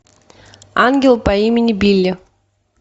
ангел по имени билли